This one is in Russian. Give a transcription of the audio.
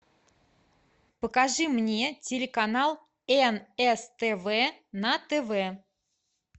покажи мне телеканал нств на тв